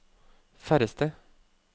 færreste